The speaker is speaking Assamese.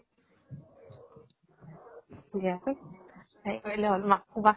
হেৰি কৰিলে হল. মাক কবা